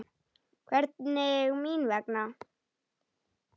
Hvernig mín vegna?